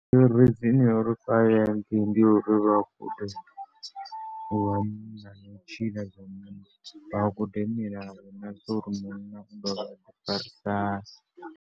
Iṅwe reason ya uri vha ye hangei ndi ya uri vha gude zwithu zwa kutshilele, vha gude milayo na zwa uri munna u tea u ḓi farisa hani.